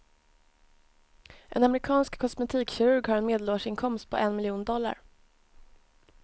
En amerikansk kosmetikkirurg har en medelårsinkomst på en miljon dollar.